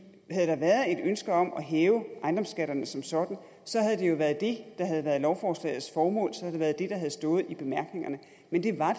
havde der været et ønske om at hæve ejendomsskatterne som sådan så havde det jo været det der havde været lovforslagets formål så havde det været det der havde stået i bemærkningerne men det var